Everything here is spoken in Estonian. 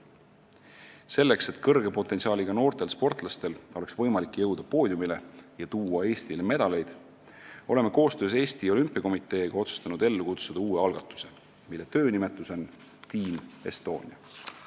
Selleks, et kõrge potentsiaaliga noortel sportlastel oleks võimalik jõuda poodiumile ja tuua Eestile medaleid, oleme koostöös Eesti Olümpiakomiteega otsustanud ellu kutsuda uue algatuse, mille töönimetus on Team Estonia.